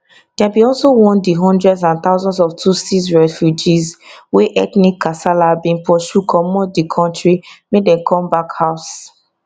dem bin also want di hundreds and thousands of tutsi refugees wey ethnic kasala bin pursue comot di kontri make dem come back house